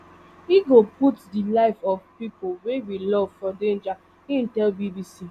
ego put di life of pipo wey we love for danger im tell bbc